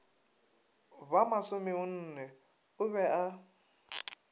ba masomenne o be a